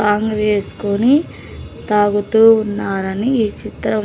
ఆంగ్ వేసుకొని తాగుతూ ఉన్నారని ఈ చిత్రం.